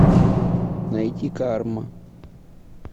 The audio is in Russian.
найти карма